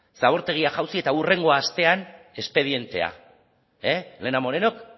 zabortegia jausi eta hurrengo astean espedientea elena morenok